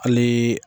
Hali